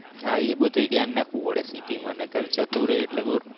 હા એ બધુ ધ્યાન રાખવું પડે સિટી માં નકર જતું રહે એટલે બોર.